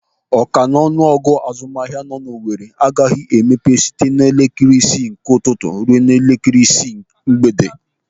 Ọ ka n'ọnụ ọgụ ụlọ azụmahịa nọ n'Owere agaghị emepe site elekere isii ụtụtụ ruo elekere isii mgbede.